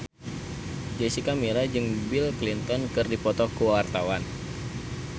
Jessica Milla jeung Bill Clinton keur dipoto ku wartawan